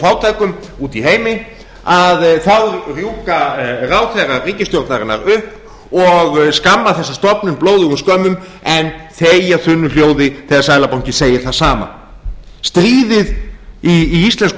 fátækum úti í heimi þá rjúka ráðherrar ríkisstjórnarinnar upp og skamma þessa stofnun blóðugum skömmum en þegja þunnu hljóði þegar seðlabankinn segir það sama stríðið í íslenskum